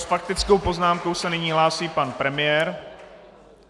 S faktickou poznámkou se nyní hlásí pan premiér.